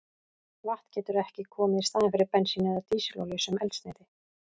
Vatn getur ekki komið í staðinn fyrir bensín eða dísilolíu sem eldsneyti.